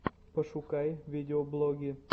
пошукай видеоблоги